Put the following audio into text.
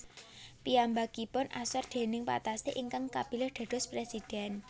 Piyambakipun asor déning Patassé ingkang kapilih dados presiden